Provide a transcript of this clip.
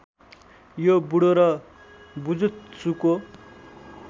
यो बुडो र बुजुत्सुको